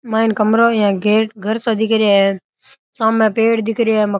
माइन कमरा यो गेट घर सा दिख रहा है साम पेड़ दिख रहा है मका --